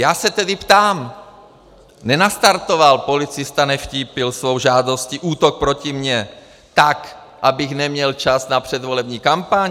Já se tedy ptám: Nenastartoval policista Nevtípil svou žádostí útok proti mně tak, abych neměl čas na předvolební kampaň?